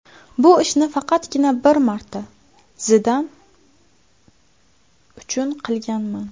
Bu ishni faqatgina bir marta Zidan uchun qilganman.